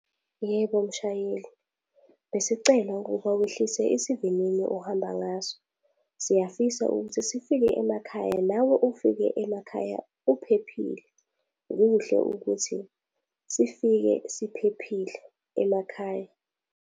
Yebo, mshayeli. Besicela ukuba wehlise isivinini ohamba ngaso. Siyafisa ukuthi sifike emakhaya nawe ufike emakhaya uphephile. Kuhle ukuthi sifike siphephile emakhaya.